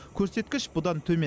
көрсеткіш бұдан төмен